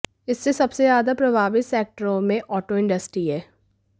इससे सबसे ज्यादा प्रभावित सेक्टरों में आॅटो इंडस्ट्री है